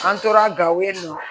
An tora gawo yen nɔ